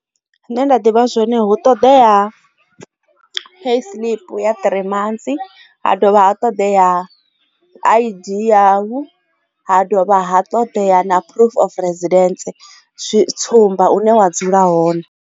Zwine nda ḓivha zwone hu ṱoḓea pay tshiḽipi ya three months ha dovha ha ṱoḓea I_D ha dovha ha ṱoḓea na proof of president tsumba une wa dzula hone.